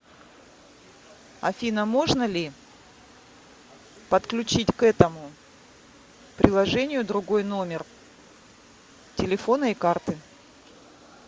афина можно ли подключить к этому приложению другой номер телефона и карты